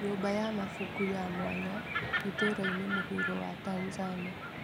Nyũmba ya mabuku ya mwanya itũra-inĩ mũhuro wa Tanzania.